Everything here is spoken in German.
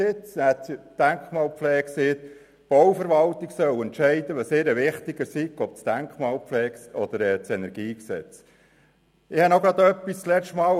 Da sagte die Denkmalpflege, die Bauverwaltung solle entscheiden, was ihr wichtiger sei, die Denkmalpflege oder das KEnG. Ich habe noch etwas.